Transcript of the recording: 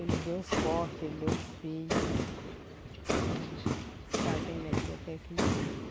Ele deu os postos, ele deu os fios para trazer energia até aqui.